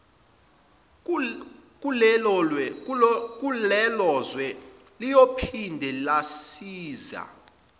kulelozwe liyophinde lazise